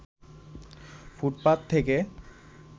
ফুটপাত থেকে